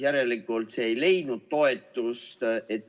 Järelikult ettepanek ei leidnud toetust.